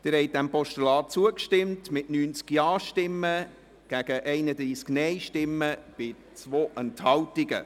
Sie haben dem Postulat zugestimmt mit 90 Ja- gegen 31 Nein-Stimmen bei 2 Enthaltungen.